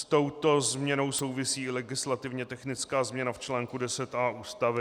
S touto změnou souvisí legislativně technická změna v článku 10a Ústavy.